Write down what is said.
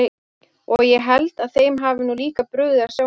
Og ég held að þeim hafi nú líka brugðið að sjá mig.